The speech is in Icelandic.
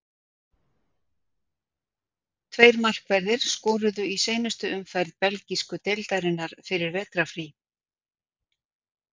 Tveir markverðir skoruðu í seinustu umferð belgísku deildarinnar fyrir vetrarfrí.